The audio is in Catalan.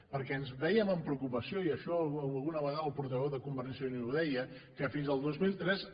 perquè vèiem amb preocupació i això alguna vegada el portaveu de convergència i unió ho deia que fins al dos mil tres